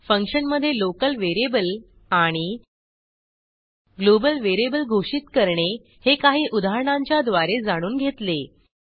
फंक्शनमधे local variable आणि global variable घोषित करणे हे काही उदाहरणांच्याद्वारे जाणून घेतले